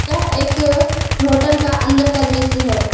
यह एक होटल का अंदर का दृश्य है।